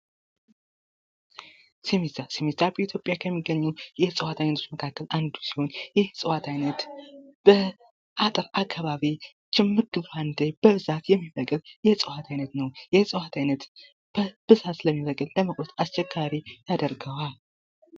ስሚዛ ስሚዛ በኢትዮጵያ ከሚገኙ የእጽዋት አይነቶች መካከል አንዱ ሲሆን ይህ የእጽዋት አይነት በአጠቅ አካባቢ ችምግ ባንዴ በብዛት የሚበቅል የእጽዋት አይነት ነው። ይህ እጽዋት አይነት በብዛት ስለሚበቅል ለመቁረጥ አስቸጋሪ ያደርገዋል።